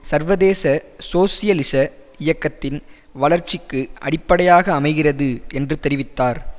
சர்வதேச சோசியலிச இயக்கத்தின் வளர்ச்சிக்கு அடிப்படையாக அமைகிறது என்று தெரிவித்தார்